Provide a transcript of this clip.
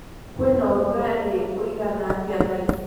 kwĩnaũrũgarĩũĩgana atĩa thaaĩcĩ